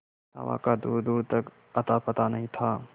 हवा का दूरदूर तक अतापता नहीं था